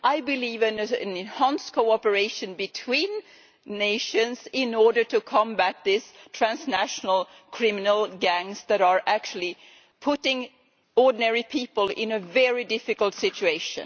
I believe in an enhanced cooperation between nations in order to combat these transnational criminal gangs that are actually putting ordinary people in a very difficult situation.